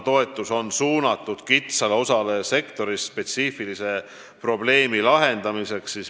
Toetus on aga suunatud kitsale osale sektorist spetsiifilise probleemi lahendamiseks.